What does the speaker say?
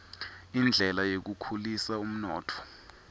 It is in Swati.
indlela yekukhulisa umnotfo